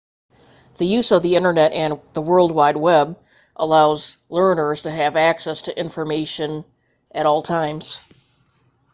the use of the internet and the world wide web allows learners to have access to information at all times